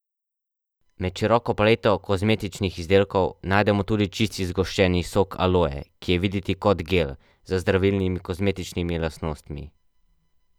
Med široko paleto kozmetičnih izdelkov najdemo tudi čisti zgoščeni sok aloje, ki je videti kot gel, z zdravilnimi kozmetičnimi lastnostmi.